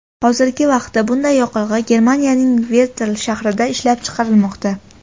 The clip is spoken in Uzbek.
Hozirgi vaqtda bunday yoqilg‘i Germaniyaning Vertl shahrida ishlab chiqarilmoqda.